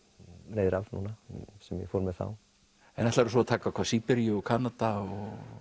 reiðir af núna sem ég fór með þá en ætlarðu svo að taka hvað Síberíu og Kanada og